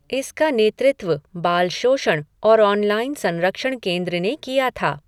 इसका नेतृत्व बाल शोषण और ऑनलाइन संरक्षण केंद्र ने किया था।